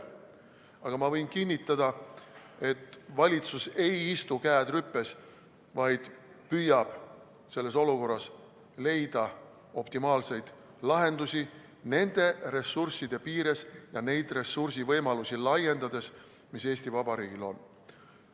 Aga ma võin kinnitada, et valitsus ei istu, käed rüpes, vaid püüab selles olukorras leida optimaalseid lahendusi nende ressursside piires ja neid ressursivõimalusi laiendades, mis Eesti Vabariigil on.